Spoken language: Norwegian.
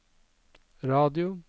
radio